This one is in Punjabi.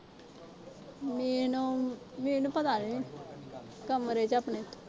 ਮੀਨੂੰ ਅਹ ਮੀਨੂੰ ਪਤਾ ਨੀ ਕਮਰੇ ਚ ਆ ਆਪਣੇ।